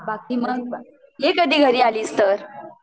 बाकी मग ये कधी घरी आलीस तर